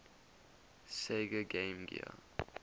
sega game gear